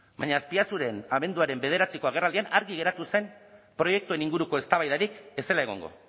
baina azpiazuren abenduaren bederatziko agerraldian argi geratu zen proiektuen inguruko eztabaidarik ez zela egongo